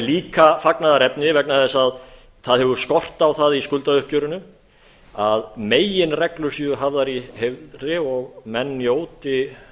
líka fagnaðarefni vegna þess að það hefur skort á það í skuldauppgjörinu að meginreglur séu hafðar í heiðri og menn njóti